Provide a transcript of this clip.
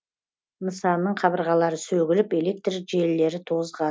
нысанның қабырғалары сөгіліп электр желілері